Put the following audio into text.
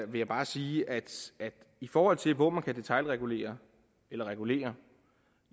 vil jeg bare sige at i forhold til hvor man kan detailregulere eller regulere